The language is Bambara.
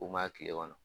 U ma kile kɔnɔ